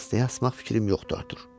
Dəstəyə asmaq fikrim yoxdur, Artur.